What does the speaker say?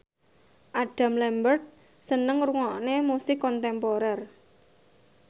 Adam Lambert seneng ngrungokne musik kontemporer